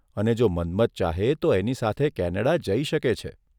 અને જો મન્મથન ચાહે તો એની સાથે કેનેડા જઇ શકે છે.